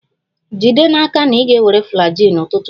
Jide n'aka na ị ga-ewere Flagyl n'ụtụtụ echi!